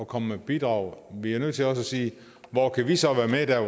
komme med bidrag vi er også nødt til at sige hvor kan vi så være med der